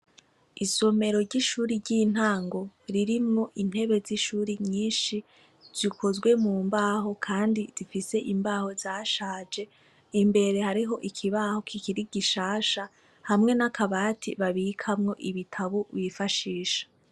Isomero ry'ishuri ry'intango ririmwo intebe z'ishuri nyinshi zikozwe mu mbaho, kandi difise imbaho zashaje imbere hariho ikibaho kikiri gishasha hamwe n'akabati babikamwo ibitabo wifashisha.